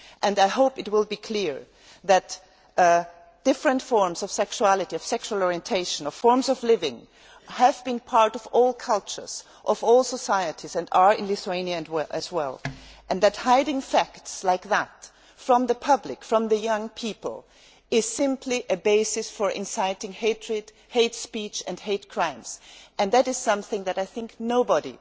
I hope it will be clear that different forms of sexuality, of sexual orientation, of forms of living, have been part of all cultures and of all societies and are so in Lithuania, as well, and that hiding facts like that from the public, from young people, is simply a basis for inciting hatred, hate speech and hate crimes. That is something that I think nobody